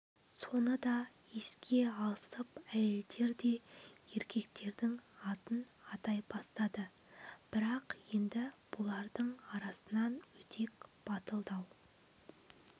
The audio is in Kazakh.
соны да еске алысып әйелдер де еркектердің атын атай бастады бірақ енді бұлардың арасынан өдек батымдау